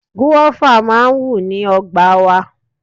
Gúáfá máa ń wù ní ọgbà wa.